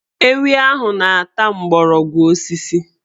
Ewi ahụ na-ata mgbọrọgwụ osisi